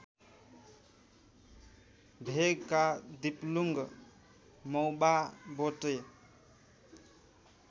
भेगका दिप्लुङ मौवाबोटे